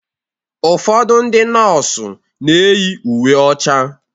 Ụfọdụ ndị nọọsụ na-eyi uwe ọcha